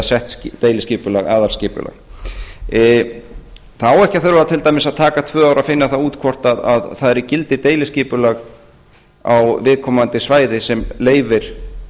sett deiliskipulag aðalskipulag það á ekki að þurfa til dæmis að taka tvö ár að finna það út hvort það er í gildi deiliskipulag á viðkomandi svæði sem leyfir